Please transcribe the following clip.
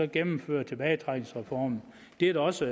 gennemføre tilbagetrækningsreformen det er også